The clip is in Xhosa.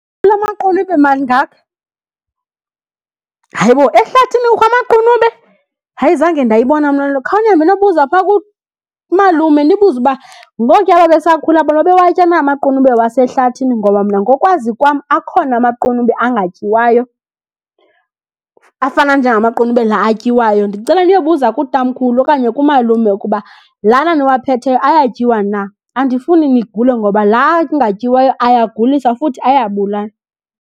Kulaa maqunube mangaka, hayibo ehlathini kukho amaqunube? Hayi zange ndayibona mna . Khanihambe niyobuza phaa kumalume, nibuze uba ngokuya babesakhula bona babewatya na amaqunube wasehlathini. Ngoba mna ngokwazi kwam akhona amaqunube angatyiwayo afana njengamaqunube la atyiwayo. Ndicela niyobuza kutamkhulu okanye kumalume ukuba lana niwaphetheyo ayatyiwa na. Andifuni nigule ngoba la angatyiwayo ayagulisa futhi ayabulala.